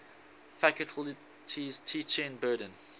faculty's teaching burden